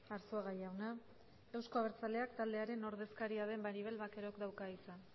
arzuaga jauna euzko abertzaleak taldearen ordezkaria den maribel vaquerok dauka hitza